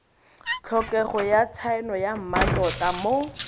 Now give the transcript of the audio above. tlhokega tshaeno ya mmatota mo